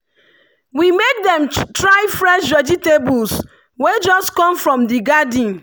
we make dem try fresh vegetables wey just come from the garden.